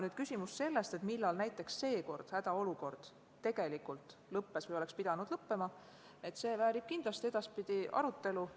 Nüüd, küsimus selle kohta, millal näiteks seekord hädaolukord tegelikult lõppes või oleks pidanud lõppema, väärib kindlasti edaspidi arutelu.